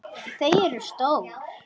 Þau eru stór.